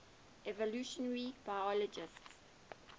evolutionary biologists